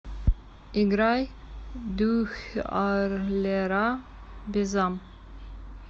играй дуьхьарлера безам